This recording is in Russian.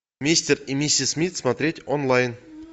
мистер и миссис смит смотреть онлайн